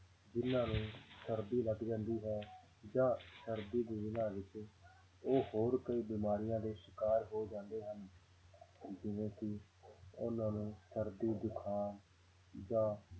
ਜਿੰਨਾਂ ਨੂੰ ਸਰਦੀ ਲੱਗ ਜਾਂਦੀ ਹੈ ਜਾਂ ਸਰਦੀ ਦੇ ਦਿਨਾਂ ਵਿੱਚ ਉਹ ਹੋਰ ਕਈ ਬਿਮਾਰੀਆਂ ਦੇ ਸਿਕਾਰ ਹੋ ਜਾਂਦੇ ਹਨ ਜਿਵੇਂ ਕਿ ਉਹਨਾਂ ਨੂੰ ਸਰਦੀ ਜੁਕਾਮ ਜਾਂ